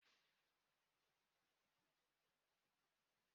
I maara esi ofe egusi?